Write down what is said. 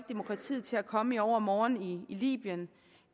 demokratiet til at komme i overmorgen i libyen